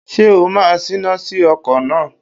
Ṣé o máa Ṣína sí ọkọ̀ náà!